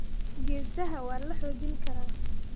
geesaha waa la xoojin karaa.